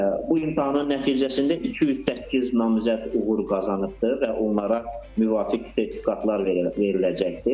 Bu imtahanın nəticəsində 208 namizəd uğur qazanıbdır və onlara müvafiq sertifikatlar veriləcəkdir.